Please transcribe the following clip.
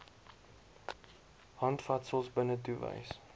handvatsels binnetoe wys